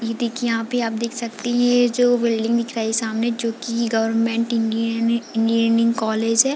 इ देखिए यहाँ पे आप देख सकते हैं ये जो बिल्डिंग दिख रहा है सामने जो की गवर्नमेंट इंजीन इंजीनियरिंग कॉलेज है।